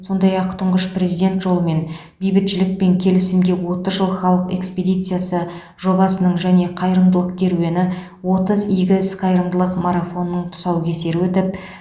сондай ақ тұңғыш президент жолымен бейбітшілік пен келісімге отыз жыл халық экспедициясы жобасының және қайырымдылық керуені отыз игі іс қайырымдылық марафонының тұсаукесері өтіп